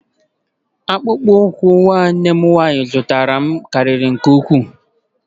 Akpụkpọ ụkwụ nwanne m nwanyị zụtara m karịrị nke ukwuu.